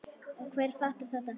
Og hver fattar þetta?